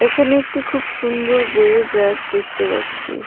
এখানে একটি খুব সুন্দর বইয়ের ব়্যাক দেখতে পাচ্ছি.